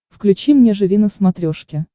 включи мне живи на смотрешке